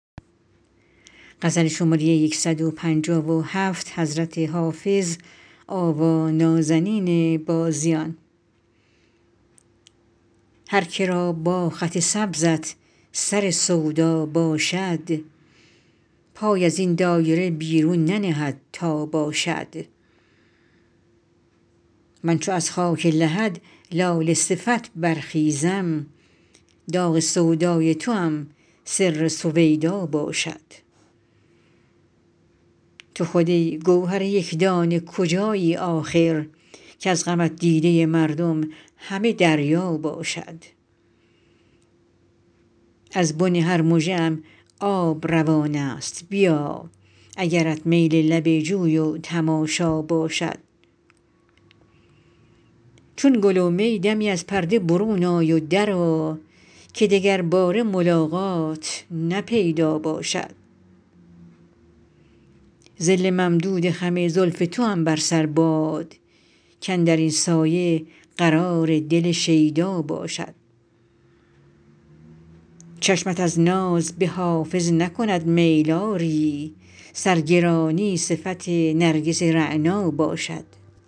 هر که را با خط سبزت سر سودا باشد پای از این دایره بیرون ننهد تا باشد من چو از خاک لحد لاله صفت برخیزم داغ سودای توام سر سویدا باشد تو خود ای گوهر یک دانه کجایی آخر کز غمت دیده مردم همه دریا باشد از بن هر مژه ام آب روان است بیا اگرت میل لب جوی و تماشا باشد چون گل و می دمی از پرده برون آی و درآ که دگرباره ملاقات نه پیدا باشد ظل ممدود خم زلف توام بر سر باد کاندر این سایه قرار دل شیدا باشد چشمت از ناز به حافظ نکند میل آری سرگرانی صفت نرگس رعنا باشد